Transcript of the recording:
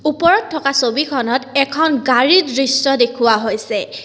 ওপৰত থকা ছবিখনত এখন গাড়ীৰ দৃশ্য দেখুৱা হৈছে।